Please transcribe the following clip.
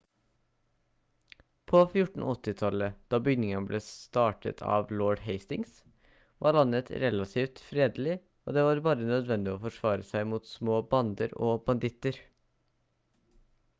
på 1480-tallet da byggingen ble startet av lord hastings var landet relativt fredelig og det var bare nødvendig å forsvare seg mot små bander av småbanditter